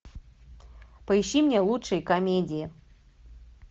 поищи мне лучшие комедии